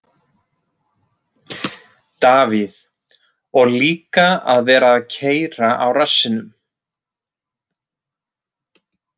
Davíð: Og líka að vera að keyra á rassinum.